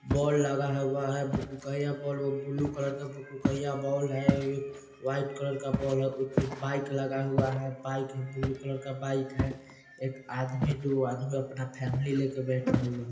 ball लगा हुआ है भुक-भुकइया बॉल वो बुलु कलर का भूक-भुकइया बॉल है वो वाइट कलर का बॉल है बाइक लगा हुआ है बाइक है बुलु कलर का बाइक है एक आदमी दुगो आदमी अपना फैमिली लेके बैठा हुआ --